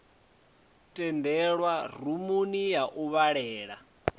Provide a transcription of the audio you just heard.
tendelwa rumuni ya u vhalela